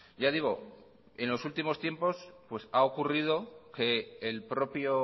ya digo en los últimos tiempos pues ha ocurrido que el propio